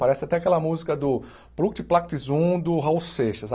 Parece até aquela música do plunct plact Zum do Raul Seixas.